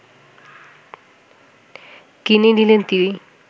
কিনে নিলেন তিনি